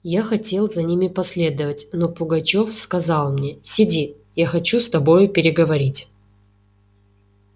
я хотел за ними последовать но пугачёв сказал мне сиди я хочу с тобою переговорить